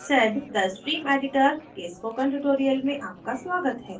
sedद stream editor के इस spoken tutorial में आपका स्वागत है